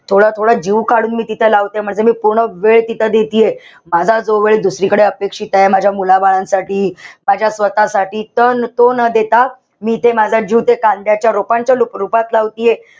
थोडा-थोडा जीव काढून मी तिथं लावतेय म्हणजे पूर्ण वेळ तिथे देतीये. माझा जो वेळ दुसरीकडे अपेक्षित ए, माझ्या मुलाबाळांसाठी, माझ्या स्वतःसाठी, तो न देता मी इथे माझा जीव तो कांद्याच्या रोपांच्या रूपात लावतीये.